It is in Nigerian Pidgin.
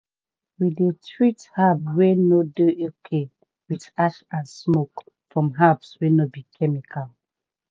we dey treat herbs wey no dey okay with ash and smoke from herbs no be chemical.